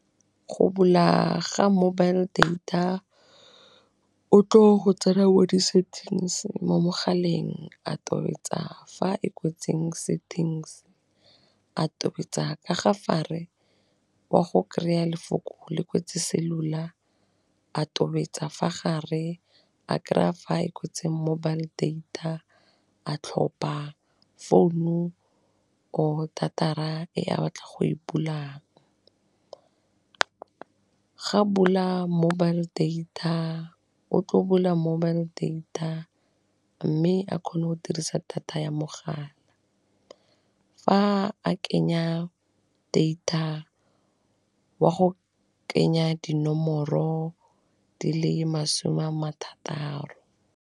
Go bula ga mobile data o tlo go tsena mo disettings mo mogaleng a tobetsa fa e kwetseng settings a tobetsa ka ga fa re wa go kry-a lefoko le kwetse cellular a tobetsa fa gare a kry-a fa e kwetse mobile data a tlhopa founu, or data-ra e a batla go e bula, ga bula mobile data, o tlo bula mobile data mme a kgone go dirisa data ya mogala, fa a kenya data, wa go kenya dinomoro di le masome a marataro.